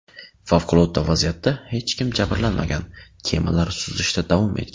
Favqulodda vaziyatda hech kim jabrlanmagan, kemalar suzishda davom etgan.